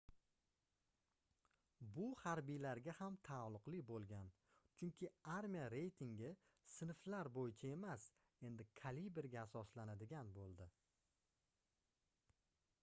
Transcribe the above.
bu harbiylarga ham taalluqli boʻlgan chunki armiya reytingi sinflar boʻyicha emas endi kaliberga asoslanadigan boʻldi